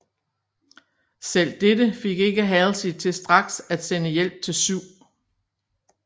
Selv dette fik ikke Halsey til straks at sende hjælp til 7